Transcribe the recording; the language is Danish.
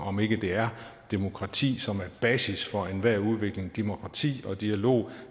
om ikke det er demokrati som er basis for enhver udvikling demokrati og dialog